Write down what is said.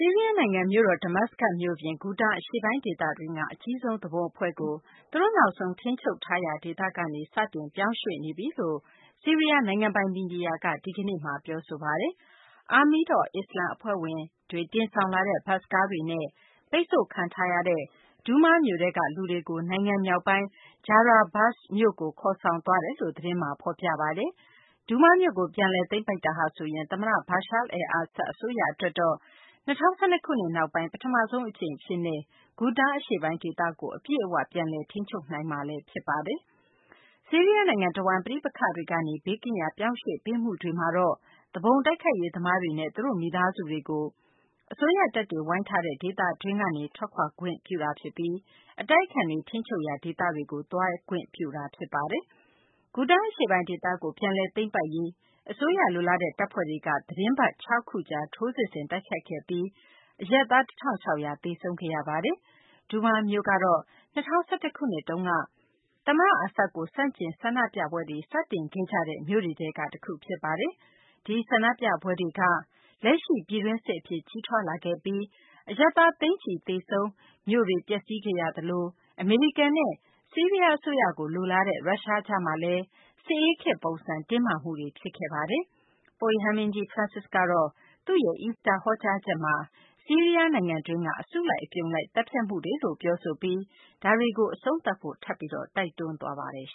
ီးရီးယား နိုင်ငံ မြို့တော် Damascus မြို့ပြင် Ghouta အရှေ့ပိုင်း ဒေသတွင်းက အကြီးဆုံး သူပုန်အဖွဲ့ကို သူတို့ နောက်ဆုံး ထိန်းချုပ်ထားရာ ဒေသကနေ စတင်ပြောင်းရွှေ့နေပြီလို့ ဆီးရီးယား နိုင်ငံပိုင် မီဒီယာက ဒီကနေ့ တနလာၤနေ့မှာ ပြောဆိုပါတယ်။ Army of Islam အဖွဲ့ဝင်တွေ တင်ဆောင်လာတဲ့ ဘတ်စ်ကားတွေနဲ့ ပိတ်ဆို့ခံထားရတဲ့ Douma မြို့ထဲက လူတွေကို နိုင်ငံမြောက်ပိုင်း Jarablus မြို့ကို ခေါ်ဆောင်သွားတယ်လို့ သတင်းမှာ ဖော်ပြပါတယ်။ Douma မြို့ကို ပြန်လည် သိမ်းပိုက်တာဟာဆိုရင် သမ္မတ Bashar al-Assad အစိုးရ အတွက်တော့ ၂၀၁၂ ခုနှစ် နောက်ပိုင်း ပထမဆုံး အကြိမ်အဖြစ် Ghouta အရှေ့ပိုင်း ဒေသကို အပြည့်အ၀ ပြန်လည် ထိန်းချုပ်နိုင်မှာ ဖြစ်ပါတယ်။ ဆီးရီးယား နိုင်ငံတဝန်း ပဋိပက္ခတွေကနေ ဘေးကင်းရာ ပြောင်းရွှေ့ပေးမှုတွေမှာတော့ သူပုန်တိုက်ခိုက်ရေး သမားတွေနဲ့ သူတို့ မိသားစုတွေကို အစိုးရတပ်တွေ ဝိုင်းထားတဲ့ ဒေသတွေင်းကနေ ထွက်ခွာသွားနိုင်ပြီး အတိုက်အခံတွေ ထိန်းချုပ်ရာ ဒေသတွေကို သွားခွင့်ပြုတာ ဖြစ်ပါတယ်။ Ghouta အရှေ့ပိုင်း ဒေသကို ပြန်လည် သိမ်းပိုက်နိုင်ရေး အစိုးရ လိုလားတဲ့ တပ်ဖွဲ့တွေက သတင်းပတ် ၆ ခုကြာ ထိုးစစ်ဆင်တိုက်ခိုက်ခဲ့ပြီး အရပ်သား ၁ ထောင့် ၆ ရာ သေဆုံးခဲ့ရပါတယ်။ Douma မြို့တော့ ၂၀၁၁ ခုနှစ်တုန်းက သမ္မတ Assad ကို ဆန့်ကျင် ဆန္ဒပြပွဲကို စတင်ခဲ့ကြတဲ့ မြို့တွေထဲက တခု ဖြစ်ပါတယ်။ ဒီဆန္ဒပြပွဲတွေက လက်ရှိ ပြည်တွင်းစစ် အဖြစ် ကြီးထွားလာခဲ့ပြီး အရပ်သား သိန်းချီ သေဆုံး၊ ဆီးရီးယား မြို့တွေ ပျက်စီးခဲ့ရသလို အမေရိကန်နဲ့ ဆီးရီးယား အစိုးရ လိုလားတဲ့ ရုရှားကြားမှာလည်း စစ်ဆေးခတ်ပုံစံ တင်းမာမှုတွေ ဖြစ်စေခဲ့တာပါ။ ပုပ်ရဟန်းမင်းကြီး Francis က သူ့ရဲ့ Easter ဟောကြားချက်မှာတော့ ဆီးရီးယား နိုင်ငံတွင်းက အစုလိုက် အပြုံလိုက် သတ်ဖြတ်မှုတွေလို့ ပြောဆိုပြီး ဒါတွေကို အဆုံးသတ်ဖို့ ထပ်ပြီး တိုက်တွန်းခဲ့ပါတယ်။